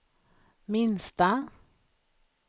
minsta